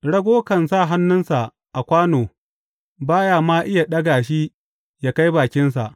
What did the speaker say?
Rago kan sa hannunsa a kwano ba ya ma iya ɗaga shi ya kai bakinsa.